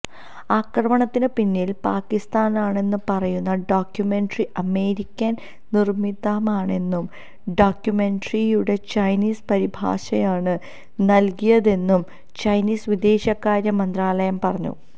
ആക്രമണത്തിന് പിന്നില് പാകിസ്താനാണെന്ന് പറയുന്ന ഡോക്യുമെന്ററി അമേരിക്കന് നിര്മ്മിതമാണെന്നും ഡോക്യുമെന്ററിയുടെ ചൈനീസ് പരിഭാഷയാണ് നല്കിയതെന്നും ചൈനീസ് വിദേശകാര്യ മന്ത്രാലയം പറഞ്ഞു